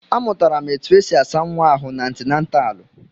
Amụtara m etu esi asa nwa ahụ n'antinataalu.